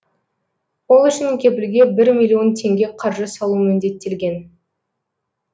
ол үшін кепілге бір миллион теңге қаржы салу міндеттелген